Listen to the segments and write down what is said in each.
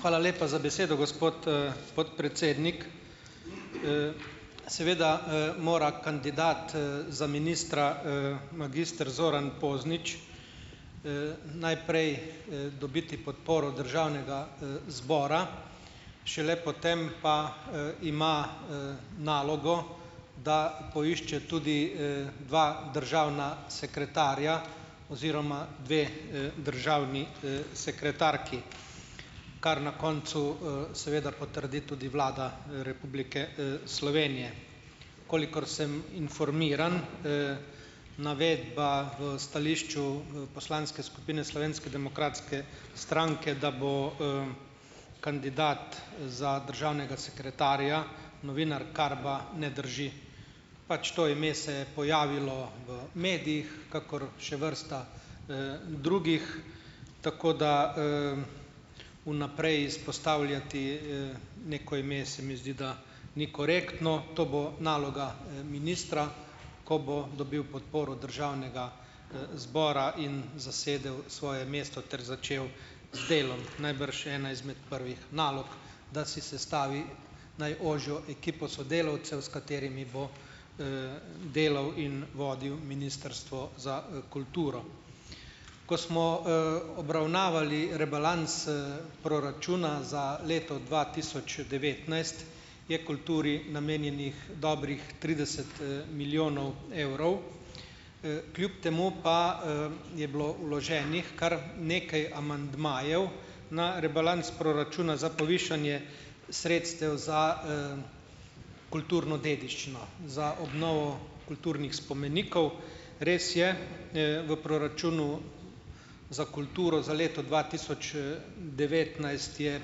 Hvala lepa za besedo, gospod, podpredsednik. Seveda, mora kandidat, za ministra, magister Zoran Poznič najprej, dobiti podporo državnega, zbora, šele potem pa, ima nalogo, da poišče tudi dva državna sekretarja oziroma dve, državni, sekretarki, kar na koncu, seveda potrdi tudi vlada Republike, Slovenije. Kolikor sem informiran, navedba v stališču poslanske skupine Slovenske demokratske stranke, da bo kandidat za državnega sekretarja novinar Karba, ne drži. Pač to ime se je pojavilo v medijih, kakor še vrsta drugih, tako da vnaprej izpostavljati neko ime se mi zdi, da ni korektno. To bo naloga, ministra, ko bo dobil podporo državnega, zbora in zasedel svoje mesto ter začel z delom. Najbrž ena izmed prvih nalog, da si sestavi najožjo ekipo sodelavcev, s katerimi bo delal in vodil Ministrstvo za, kulturo. Ko smo, obravnavali rebalans, proračuna za leto dva tisoč devetnajst, je kulturi namenjenih dobrih trideset, milijonov evrov, kljub temu pa, je bilo vloženih kar nekaj amandmajev na rebalans proračuna za povišanje sredstev za kulturno dediščino, za obnovo kulturnih spomenikov. Res je, v proračunu za kulturo za leto dva tisoč, devetnajst je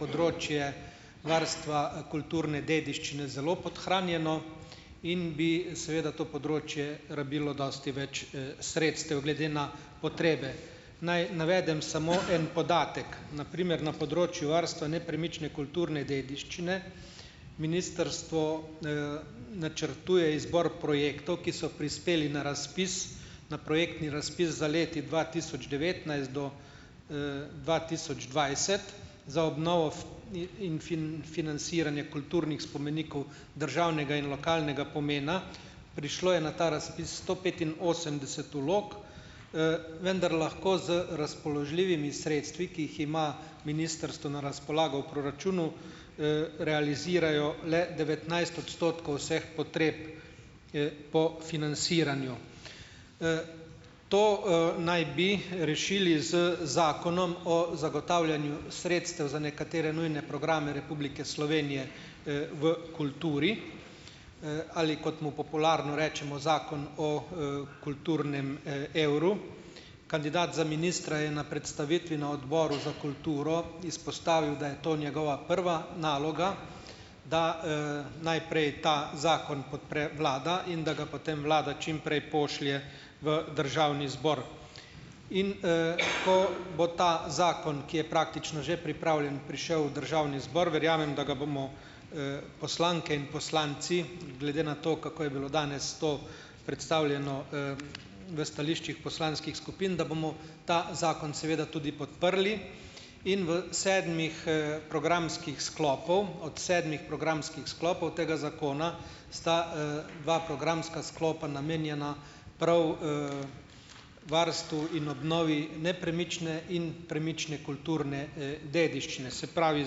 področje varstva kulturne dediščine zelo podhranjeno in bi seveda to področje rabilo dosti več, sredstev, glede na potrebe. Naj navedem samo en podatek. Na primer na področju varstva nepremične kulturne dediščine ministrstvo načrtuje izbor projektov, ki so prispeli na razpis, na projektni razpis za leti dva tisoč devetnajst do, dva tisoč dvajset za obnovo in financiranje kulturnih spomenikov državnega in lokalnega pomena. Prišlo je na ta razpis sto petinosemdeset vlog, vendar lahko z razpoložljivimi sredstvi, ki jih ima ministrstvo na razpolago v proračunu, realizirajo le devetnajst odstotkov vseh potreb po financiranju. To, naj bi rešili z Zakonom o zagotavljanju sredstev za nekatere nujne programe Republike Slovenije, v kulturi ali, kot mu popularno rečemo, zakon o kulturnem, evru. Kandidat za ministra je na predstavitvi na odboru za kulturo izpostavil, da je to njegova prva naloga, da, najprej ta zakon podpre vlada in da ga potem vlada čim prej pošlje v državni zbor. In, ko bo ta zakon, ki je praktično že pripravljen, prišel v državni zbor, verjamem, da ga bomo, poslanke in poslanci, glede na to, kako je bilo danes to predstavljeno, v stališčih poslanskih skupin, da bomo ta zakon seveda tudi podprli in v sedmih, programskih sklopov, od sedmih programskih sklopov tega zakona, sta, dva programska sklopa namenjena prav varstvu in obnovi nepremične in premične kulturne, dediščine. Se pravi,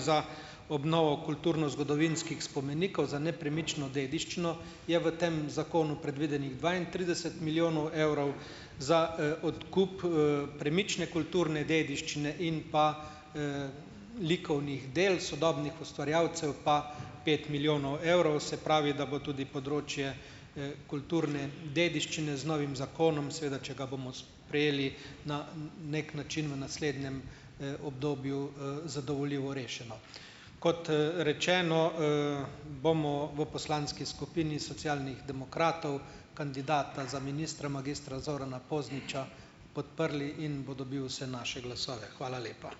za obnovo kulturnozgodovinskih spomenikov, za nepremično dediščino je v tem zakonu predvidenih dvaintrideset milijonov evrov, za, odkup, premične kulturne dediščine in pa likovnih del sodobnih ustvarjalcev pa pet milijonov evrov. Se pravi, da bo tudi področje, kulturne dediščine z novim zakonom seveda, če ga bomo sprejeli na neki način v naslednjem, obdobju, zadovoljivo rešeno. Kot rečeno, bomo v poslanski skupini Socialnih demokratov kandidata za ministra magistra Zorana Pozniča podprli in bo dobil vse naše glasove. Hvala lepa.